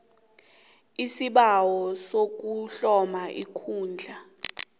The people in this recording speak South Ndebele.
isibawo sokuhloma ikundla